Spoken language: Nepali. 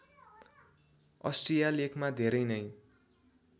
अष्ट्रिया लेखमा धेरै नै